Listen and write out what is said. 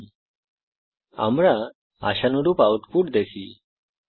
যেমনকি আমরা দেখতে পারি আউটপুট হল আশানুরূপ